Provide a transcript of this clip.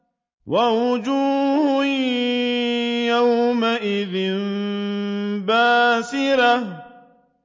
وَوُجُوهٌ يَوْمَئِذٍ بَاسِرَةٌ